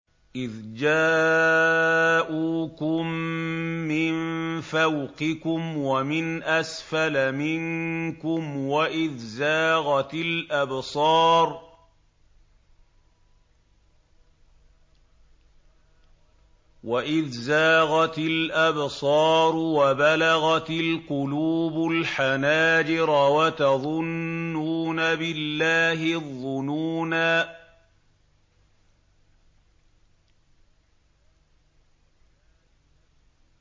إِذْ جَاءُوكُم مِّن فَوْقِكُمْ وَمِنْ أَسْفَلَ مِنكُمْ وَإِذْ زَاغَتِ الْأَبْصَارُ وَبَلَغَتِ الْقُلُوبُ الْحَنَاجِرَ وَتَظُنُّونَ بِاللَّهِ الظُّنُونَا